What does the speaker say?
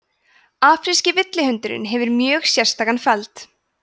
afríski villihundurinn hefur mjög sérstakan feld